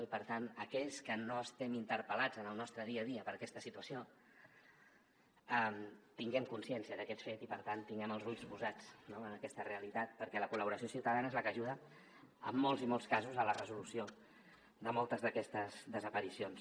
i per tant que aquells que no estem interpel·lats en el nostre dia a dia per aquesta situació tinguem consciència d’aquest fet i per tant tinguem els ulls posats en aquesta realitat perquè la col·laboració ciutadana és la que ajuda en molts i molts casos a la resolució de moltes d’aquestes desaparicions